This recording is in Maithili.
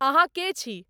अहाँके छी?